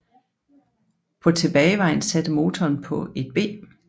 På tilbagevejen satte motoren på et B